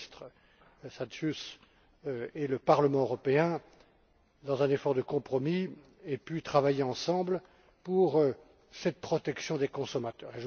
le ministre Šadžius et le Parlement européen dans un effort de compromis, aient pu travailler ensemble en vue de cette protection des consommateurs.